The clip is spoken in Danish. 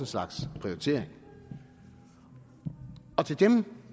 slags prioritering til dem